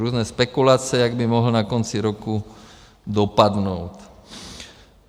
Různé spekulace, jak by mohl na konci roku dopadnout.